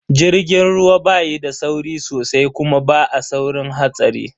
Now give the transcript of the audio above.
Jirgin ruwa ba yi da sauri sosai kuma ba a saurin hatsari.